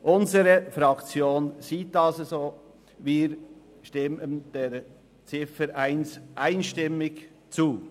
Unsere Fraktion stimmt der Ziffer 1 einstimmig zu.